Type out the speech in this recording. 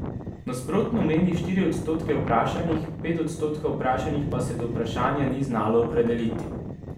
Nasprotno meni štiri odstotke vprašanih, pet odstotkov vprašanih pa se do vprašanja ni znalo opredeliti.